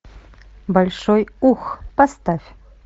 большой ух поставь